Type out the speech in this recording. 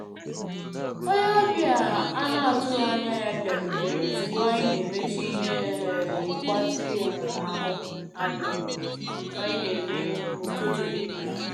Onye ọbịa a na atụghị anya ya bịarutere ozugbo anyị na emecha ihe um mgbatị um ahụ anyị na-eme na ụtụtụ niile